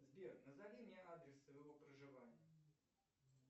сбер назови мне адрес своего проживания